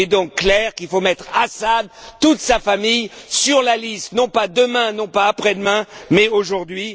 Il est donc clair qu'il faut mettre Assad et toute sa famille sur la liste, non pas demain, non pas après demain, mais aujourd'hui.